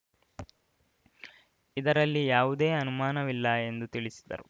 ಇದರಲ್ಲಿ ಯಾವುದೇ ಅನುಮಾನವಿಲ್ಲ ಎಂದು ತಿಳಿಸಿದರು